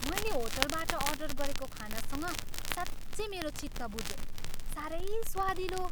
मैले होटलबाट अर्डर गरेको खानासँग साँच्चै मेरो चित्त बुझ्यो। साह्रै स्वादिलो!